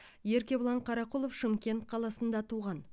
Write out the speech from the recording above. еркебұлан қарақұлов шымкент қаласында туған